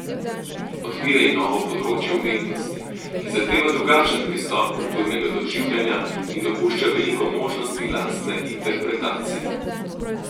Odpira jim novo področje umetnosti, ki zahteva drugačen pristop kulturnega doživljanja in dopušča veliko možnosti lastne interpretacije.